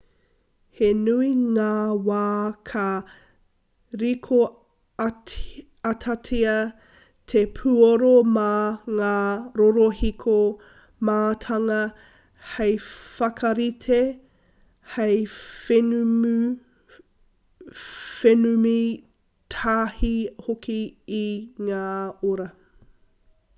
he nui ngā wā ka rīkoatatia te puoro mā ngā rorohiko mātanga hei whakarite hei whenumi tahi hoki i ngā oro